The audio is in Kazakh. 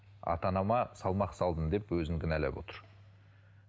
ата анама салмақ салдым деп өзін кінәлап отыр